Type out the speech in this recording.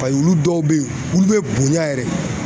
olu dɔw bɛ ye olu bɛ bonya yɛrɛ de.